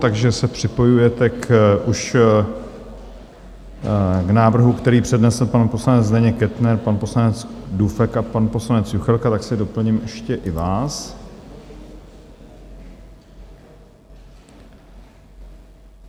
Takže se připojujete už k návrhu, který přednesl pan poslanec Zdeněk Kettner, pan poslanec Dufek a pan poslanec Juchelka, tak si doplním ještě i vás.